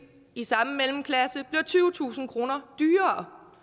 i samme mellemklasse bliver tyvetusind kroner dyrere